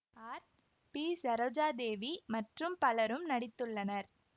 R B Saroja Devi மற்றும் பலரும் நடித்துள்ளனர்